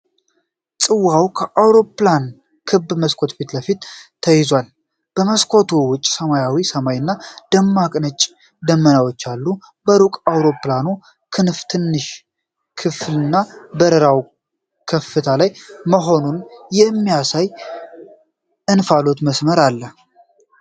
ጽዋው ከአውሮፕላን ክብ መስኮት ፊት ለፊት ተይዟል። ከመስኮቱ ውጭ ሰማያዊ ሰማይ እና ደማቅ ነጭ ደመናዎች አሉ። በሩቅ የአውሮፕላኑ ክንፍ ትንሽ ክፍልና በረራው ከፍታ ላይ መሆኑን የሚያሳይ የእንፋሎት መስመር አለ፡፡